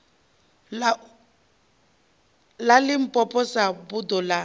ḽa limpopo sa buḓo ḽa